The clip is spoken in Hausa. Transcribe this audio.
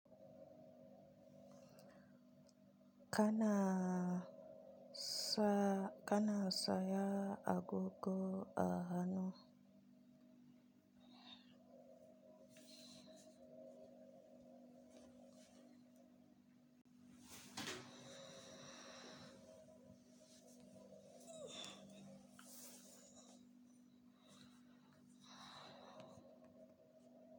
Kana saya agogo a hannu.